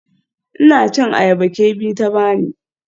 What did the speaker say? Ina cin ayaba Kemi ta bani.